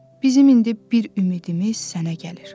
Bizim indi bir ümidimiz sənə gəlir.